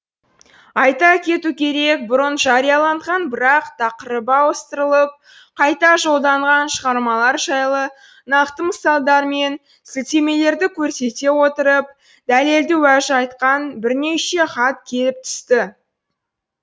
айта кету керек бұрын жарияланған бірақ тақырыбы ауыстырылып қайта жолданған шығармалар жайлы нақты мысалдар мен сілтемелерді көрсете отырып дәлелді уәж айтқан бірнеше хат келіп түсті